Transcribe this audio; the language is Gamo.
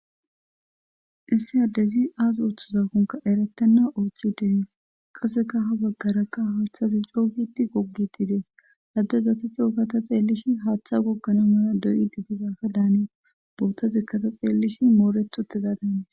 Issi haddezi aas ooththaza konka erettanna oochi denis qaseka ha baggarakka haaththazi co giti gogiti des addezate cooka ta xeellishi haaththa goggana mala doyidi dizaka daani bowuttazekkata xeellish mooretute gaa daanis.